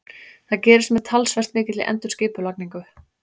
Það gerist með talsvert mikilli endurskipulagningu.